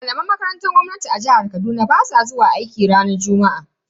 Malaman makarantar gwamnati a jihar Kaduna basu zuwa aiki ranar juma'a.